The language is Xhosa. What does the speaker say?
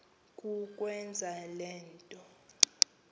kukwenza le nto